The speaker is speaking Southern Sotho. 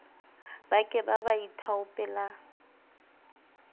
ba ke ba ba ithaopela